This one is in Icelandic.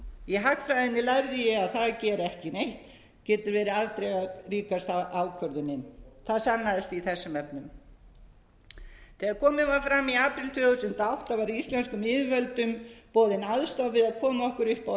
í hagfræðinni lærði ég að það að gera ekki neitt getur verið afdrifaríkasta ákvörðunin það sannaðist í þessum efnum þegar komið var fram í apríl tvö þúsund og átta var íslenskum yfirvöldum boðin aðstoð við að koma okkur upp á